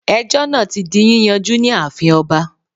Ejó náà ti di yíyanjú ní ààfin oba